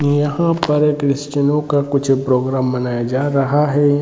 यहाँ पर क्रिस्चियनो का कुछ प्रोग्राम मनाया जा रहा है।